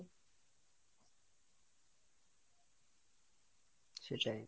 সেটাই,